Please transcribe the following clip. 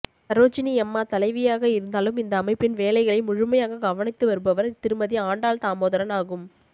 சரோஜினி அம்மா தலைவியாக இருந்தாலும் இந்த அமைப்பின் வேலைகளை முழுமையாகக் கவனித்து வருபவர் திருமதி ஆண்டாள் தாமோதரன் ஆகும்